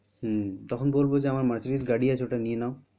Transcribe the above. হম তখন বলবো যে আমার মার্সিডিজ গাড়ি আছে ওটা নিয়ে নাও।